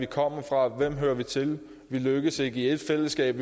kommer vi fra hvem hører vi til vi lykkes ikke i ét fællesskab